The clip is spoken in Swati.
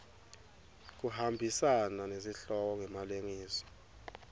kuhambisana nesihloko ngemalengiso